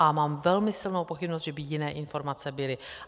A mám velmi silnou pochybnost, že by jiné informace byly.